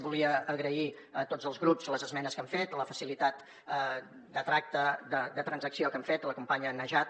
volia agrair a tots els grups les esmenes que han fet la facilitat de tracte de transacció que han fet la companya najat